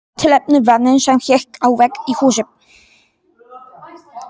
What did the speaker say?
Tilefnið var mynd sem hékk á vegg í húsi.